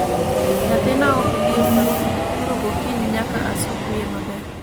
Nyathina ok dhi e salun, koro gokinyi nyaka asuk wiye maber